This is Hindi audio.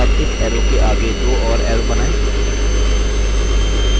अब इस arrow के आगे दो और arrow बनाएँ